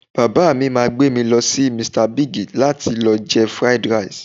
Bàbá mi máa gbé mi lọ sí Mr Big láti lọ jẹ Fried Rice